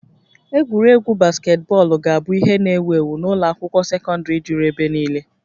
Egwuregwu basketbọọlụ ga-abụ ihe n'ewu ewu n'ụlọ akwụkwọ sekọndrị juru ebe niile